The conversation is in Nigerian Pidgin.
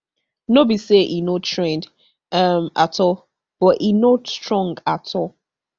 no be say e no trend um at all but e no strong at all